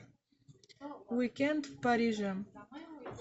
уикенд в париже